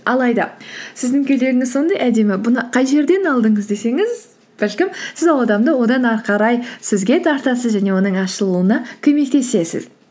алайда сіздің көйлегіңіз сондай әдемі бұны қай жерден алдыңыз десеңіз бәлкім сіз ол адамды одан әрі қарай сізге тартасыз және оның ашылуына көмектесесіз